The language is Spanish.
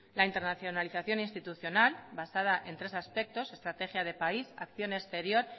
la internacionalización institucional basada en tres aspectos estrategia de país acción exterior